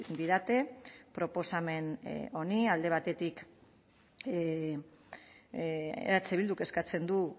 didate proposamen honi alde batetik eh bilduk eskatzen du